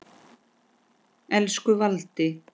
Elsku Valdi.